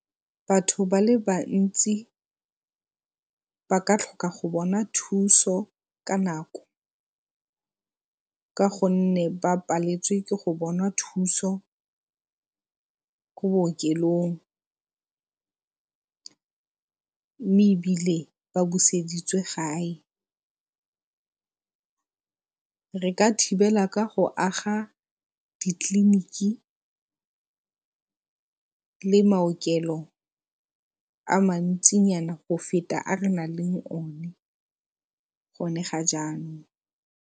Batho ba le bantsi baka tlhoka go bona thuso ka nako ka gonne ba paleletswe ke go bona thuso ko bookelong mme ebile ba buseditswe gae. Re ka thibela ka go aga ditleliniki le maokelo a mantsinyana go feta a lo nang le o ne, gone ga jaanong.